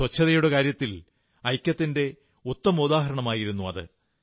ശുചിത്ലത്തിന്റെ കാര്യത്തിൽ ഐക്യത്തിന്റെ ഉത്തമോദാഹരണമായിരുന്നു അത്